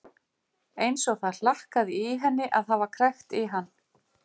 Eins og það hlakkaði í henni að hafa krækt í hann.